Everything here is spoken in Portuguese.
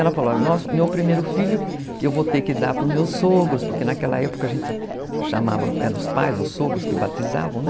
Ela falou, meu primeiro filho eu vou ter que dar para os meus sogros, porque naquela época a gente chamava, eram os pais, os sogros que batizavam, né?